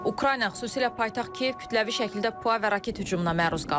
Ukrayna, xüsusilə paytaxt Kiyev kütləvi şəkildə PUA və raket hücumuna məruz qalıb.